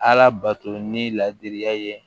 Ala bato ni ladiriya ye